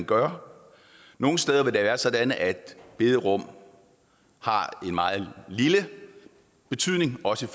gøre nogle steder vil det være sådan at bederum har en meget lille betydning også